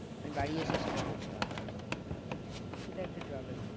আমি বাড়ি এসে সেটা করতে পারবো না সেটা একটা